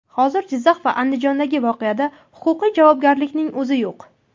Hozir Jizzax va Andijondagi voqeada huquqiy javobgarlikning o‘zi yo‘q.